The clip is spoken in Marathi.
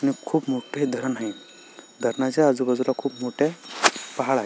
हे खुप मोठे धरण आहे धरणाच्या आजूबाजुला खुप मोठे पहाड आहे.